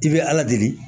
I bɛ ala deli